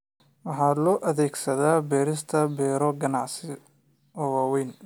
Waxa loo adeegsadaa beerista beero ganacsi oo waaweyn.